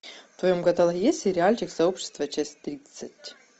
в твоем каталоге есть сериальчик сообщество часть тридцать